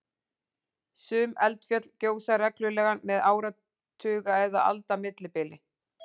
sum eldfjöll gjósa reglulega með áratuga eða alda millibili